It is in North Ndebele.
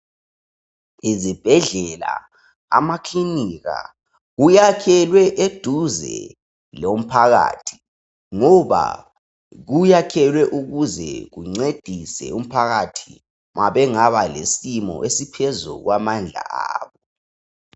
Izibhedle, amakilika, kuyakwelwe eduze lomphakathi ngoba. Kuyakwelwe ukuze kuncedise umphakathi ma bengaba lesimo esiphezu kwamandla abo.